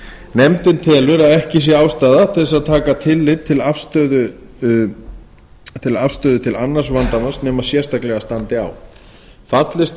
nefndin telur að ekki sé ástæða til að taka tillit til afstöðu til annars vandamanns nema sérstaklega standi á fallist